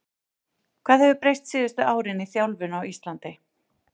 Hvað hefur breyst síðustu árin í þjálfun á Íslandi?